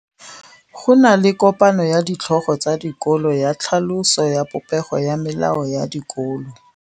Go na le kopanô ya ditlhogo tsa dikolo ya tlhaloso ya popêgô ya melao ya dikolo.